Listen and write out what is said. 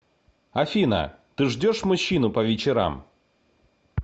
афина ты ждешь мужчину по вечерам